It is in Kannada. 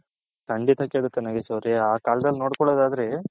ಕಂಡಿತ ಕೇಡುತ್ತೆ ನಾಗೇಶ್ ಅವರೇ ಆ ಕಾಲದಲ್ಲಿ ನೋಡ್ಕೊಲ್ಲದ್ ಆದ್ರೆ .